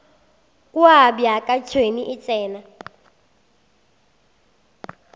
kua bjaka tšhwene e tsena